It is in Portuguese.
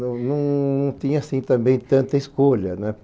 Não não não tinha, assim, também tanta escolha, né?